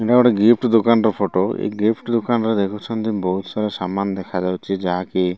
ଏଟା ଗୋଟେ ଗିଫ୍ଟ ଦୋକାନ ର ଫଟୋ ଏଇ ଗିଫ୍ଟ ଦୋକାନରେ ଅଛନ୍ତି ବୋହୁତ ସାରା ସାମାନ ଦେଖାଯାଉଚି ଯାହାକି --